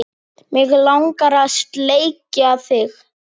Mig langar að sleikja þig.